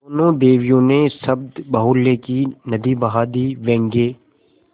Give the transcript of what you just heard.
दोनों देवियों ने शब्दबाहुल्य की नदी बहा दी व्यंग्य